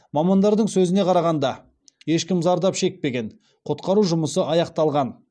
мамандардың сөзіне қарағанда ешкім зардап шекпеген құтқару жұмысы аяқталған